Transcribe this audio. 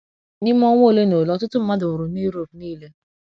N’ime ọnwa ole na ole ọtụtụ mmadụ nwụrụ na Europe nile.